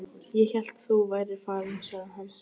Ég hélt þú værir farinn sagði hann.